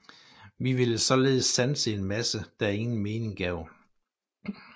Vi ville således sanse en masse der ingen mening gav